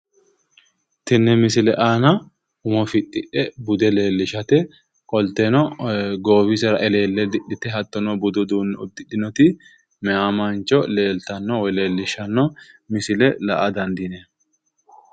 tini misile aana umo fixxidhe bude leellishate qolteno goowisera eleelle didhite hattono budu uduunne uddidhinoti mayi mancho leeltanno woy la"a dandineemmo